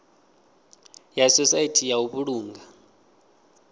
ya sosaithi ya u vhulunga